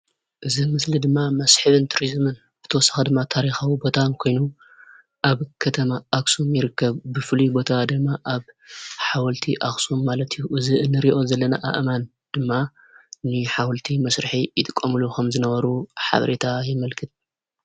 እዚ ምስሊ ድማ መስሕብን ቱሪዝምን ብተወሳኺ ድማ ታሪካዊ ቦታ ኮይኑ ኣብ ከተማ ኣኽሱም ይርከብ፡፡ ብፍሉይ ቦታ ድማ ኣብ ሓወልቲ ኣኽሱም ማለት እዩ፡፡ እዚ ንሪኦ ዘለና ኣእማን ድማ ንሓወልቲ መስርሒ ይጥቀሙሉ ከምዝነበሩ ሓበሬታ የመልክት፡፡